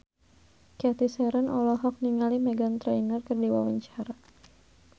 Cathy Sharon olohok ningali Meghan Trainor keur diwawancara